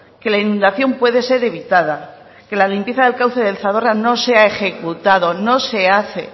que la inundación puede ser evitada que la limpieza del cauce del zadorra no se ha ejecutado no se hace